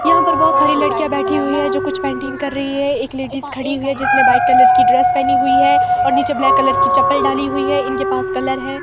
यहां पर बहोत सारी लड़कियां बैठी हुई है जो कुछ पेंटिंग कर रही हैं एक लेडीज खड़ी हुई है जिसने व्हाईट कलर की ड्रेस पेहनी हुई है और नीचे ब्लैक कलर की चप्पल डाली हुई हैं इनके पास कलर हैं।